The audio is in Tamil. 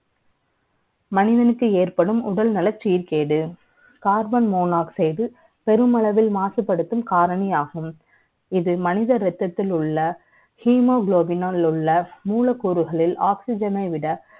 மனிதனுக்கு ஏற்படும் உடல்நல சீர்கேடு Karbonn monoxide பெருமளவில் மாசுபடுத்தும் காரணியாகும் இது மனித ரத்தத்தில் உள்ள hemoglobin உள்ள மூலக்கூறுகளின் oxygen விட